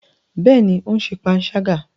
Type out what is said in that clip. Bẹẹni, o n ṣe panṣaga